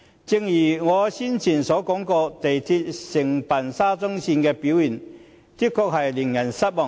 正如我先前提及，港鐵公司承辦沙中線工程的表現，確實令人失望。